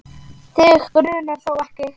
Þig grunar þó ekki?.